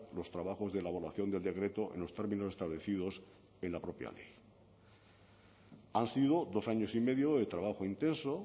los trabajos de elaboración del decreto en los términos establecidos en la propia ley han sido dos años y medio de trabajo intenso